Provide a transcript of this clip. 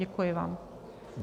Děkuji vám.